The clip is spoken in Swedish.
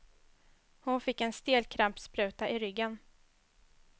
Hon fick en stelkrampsspruta i ryggen.